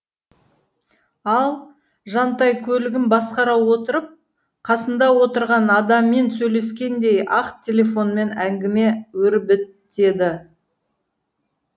ал жантай көлігін басқара отырып қасында отырған адаммен сөйлескендей ақ телефонмен әңгіме өрбітеді